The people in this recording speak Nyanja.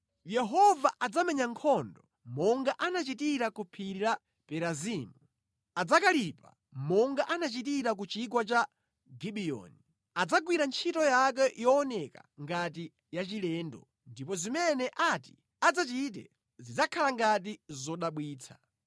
Yehova adzamenya nkhondo monga anachitira ku phiri la Perazimu adzakalipa monga anachitira ku chigwa cha Gibiyoni; adzagwira ntchito yake yooneka ngati yachilendo, ndipo zimene ati adzachite zidzakhala ngati zodabwitsa.